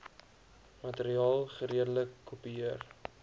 materiaal geredelik kopieer